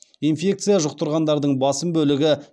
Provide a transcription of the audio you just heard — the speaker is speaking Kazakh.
инфекция жұқтырғандардың басым бөлігі